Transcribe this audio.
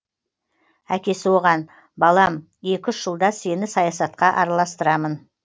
әкесі оған балам екі үш жылда сені саясатқа араластырамын